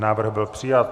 Návrh byl přijat.